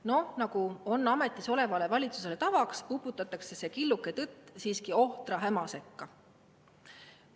Noh, nagu on ametis olevale valitsusele tavaks, uputatakse see killuke tõtt siiski ohtra häma sekka.